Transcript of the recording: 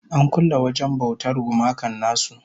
An kulle wajen bautar gumakan nasu